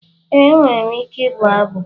Ee, enwere m ike ịbụ abụ.